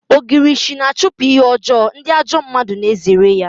Ogirishi na-achụpụ ihe ọjọọ, ndị ajọ mmadụ na-ezere ya